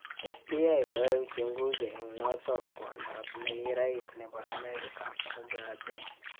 FBI koaei uchunguzi eng notok kwondoap nekirais nebo Amerika mugabe